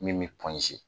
Min bɛ